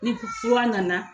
Ni fura nana